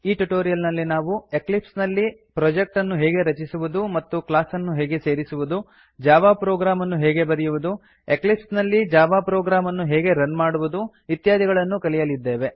A tutorial ನಲ್ಲಿ ನಾವು Eclipse ನಲ್ಲಿ ಪ್ರೊಜೆಕ್ಟ್ ಅನ್ನು ಹೇಗೆ ರಚಿಸುವುದು ಮತ್ತು ಕ್ಲಾಸ್ ಅನ್ನು ಹೇಗೆ ಸೇರಿಸುವುದು ಜಾವಾ ಪ್ರೊಗ್ರಾಮ್ ಅನ್ನು ಹೇಗೆ ಬರೆಯುವುದು ಎಕ್ಲಿಪ್ಸ್ ನಲ್ಲಿ ಜಾವಾ ಪ್ರೊಗ್ರಾಮ್ ಅನ್ನು ಹೇಗೆ ರನ್ ಮಾಡುವುದು ಇತ್ಯಾದಿಗಳನ್ನು ಕಲಿಯಲಿದ್ದೇವೆ